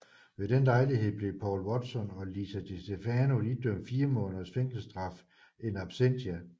Ved den lejlighed blev Paul Watson og Lisa Distefano idømt fire måneders fængselsstraf in absentia